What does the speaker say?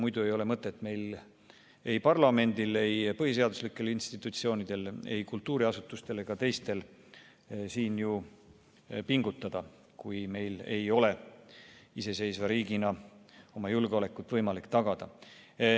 Muidu ei ole mõtet meil, ei parlamendil, ei põhiseaduslikel institutsioonidel, ei kultuuriasutustel ega teistel siin ju pingutada, kui meil ei ole iseseisva riigina võimalik oma julgeolekut tagada.